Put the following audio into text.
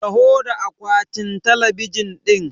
Taho da akwatin talabijin ɗin!